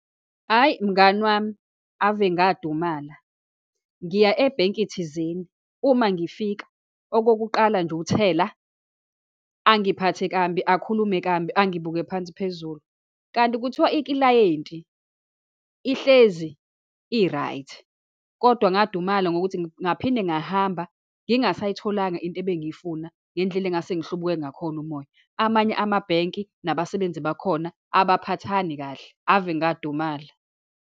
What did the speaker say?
Hhayi, mngani wami ave ngadumala. Ngiya ebhenki thizeni. Uma ngifika, okokuqala nje, u-teller, angiphathe kambi, akhulume kambi, angibuke phansi phezulu. Kanti kuthiwa iklayenti ihlezi i-right. Kodwa ngadumala ngokuthi ngaphinde ngahamba ngingasayitholanga into ebengiyifuna, ngendlela engase ngihlubuke ngakhona umoya. Amanye amabhenki, nabasebenzi bakhona abaphathani kahle. Ave ngadumala.